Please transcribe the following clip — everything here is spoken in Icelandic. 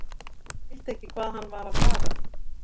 Ég skildi ekki hvað hann var að fara.